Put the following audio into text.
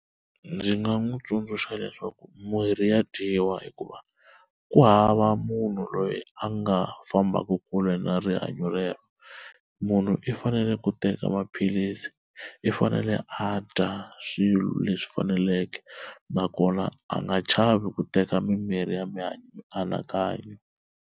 Ndzi nga n'wi tsundzuxa leswaku mirhi ya dyiwa hikuva ku hava munhu loyi a nga fambaku kule na rihanyo rero munhu i fanele ku teka maphilisi i fanele a dya swilo leswi faneleke nakona a nga chavi ku teka mimirhi ya mianakanyo.